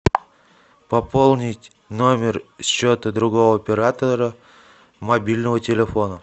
пополнить номер счета другого оператора мобильного телефона